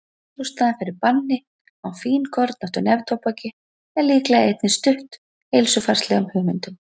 ástæðan fyrir banni á fínkornóttu neftóbaki er líklega einnig stutt heilsufarslegum hugmyndum